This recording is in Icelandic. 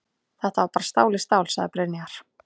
Þetta var bara stál í stál, sagði Brynjar.